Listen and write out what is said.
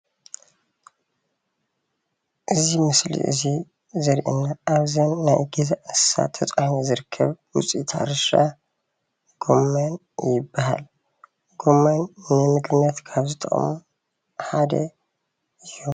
እዚ ምስሊ እዚ ዘርእየና ኣብዘን ናይ ገዛ እንስሳ ተፃዒኑ ዝርከብ ውፅኢት ሕርሻ ጉመን ይበሃል። ጎመን ንምግብነት ካብ ዝጠቅሙ ሓደ እዩ።